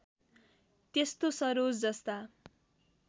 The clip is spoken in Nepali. त्यस्तो सरोज जस्ता